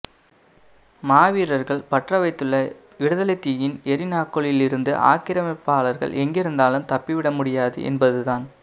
மாவீரர்கள் பற்றவைத்துள்ள விடுதலைத்தீயின் எரிநாக்குகளிலிருந்து ஆக்கிரமிப்பாளர்கள் எங்கிருந்தாலும் தப்பிவிடமுடியாது என்பதுதான்